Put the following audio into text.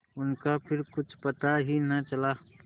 उनका फिर कुछ पता ही न चला